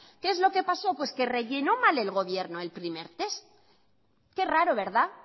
qué es lo que pasó pues que rellenó mal el gobierno el primer test qué raro verdad